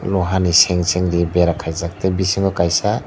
o hani sang sang repair kaijak tei bisingo kaisa.